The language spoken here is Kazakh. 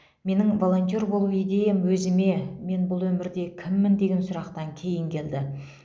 менің волонтер болу идеям өзіме мен бұл өмірде кіммін деген сұрақтан кейін келді